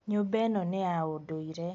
Nyũmba ĩno nĩ ya ũndũire